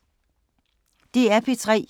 DR P3